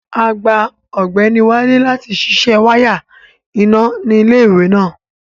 Agbá Ọgbẹnì Wálé láti sísẹ wàya iná ni ilẹ̀-iwe náà.